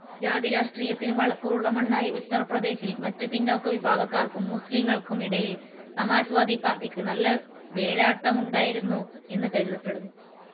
ജാതിരാഷ്ട്രീയത്തിനു വളക്കൂറുള്ള മണ്ണായ ഉത്തർപ്രദേശിൽ മറ്റു പിന്നോക്ക വിഭാഗക്കാർക്കും മുസ്ലീങ്ങൾക്കും ഇടയിൽ സമാജ്‌വാദി പാർട്ടിക്ക് നല്ല വേരോട്ടമുണ്ടെന്നു കരുതപ്പെടുന്നു.